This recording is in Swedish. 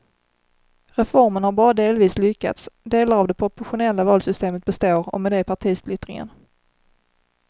Reformen har bara delvis lyckats, delar av det proportionella valsystemet består och med det partisplittringen.